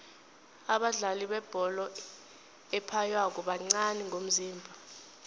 abadlali bebholo ephaywako bancani ngomzimba